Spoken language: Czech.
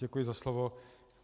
Děkuji za slovo.